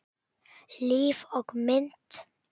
Líf og mynd